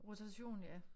Rotation ja